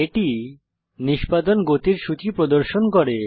এটি নিষ্পাদন গতির সূচী প্রদর্শন করে